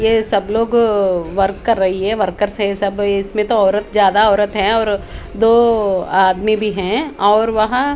ये सब लोग वर्क कर रही है वर्कर्स है सब इसमें तो औरत ज्यादा औरत है और दो आदमी भी है और वहां--